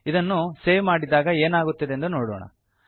ಇದನ್ನು ಸೇವ್ ಮಾಡಿದಾಗ ಏನಾಗುತ್ತದೆಂದು ನೋಡೋಣ